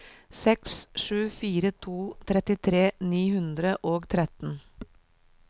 seks sju fire to trettitre ni hundre og tretten